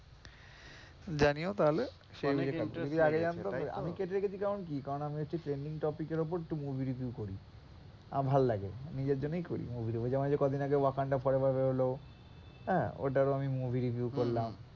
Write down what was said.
জানিও তাহলে, যদি আগে জানতাম, আমি কেটে রেখেছি কারণ কি আমি একটু trending topic এর ওপর একটু movie review করি, আমার ভালোলাগে। নিজের জন্যই করি, যেমন কদিন আগে wakanda forever বেরোল হ্যাঁ ওটারও আমি movie review করলাম।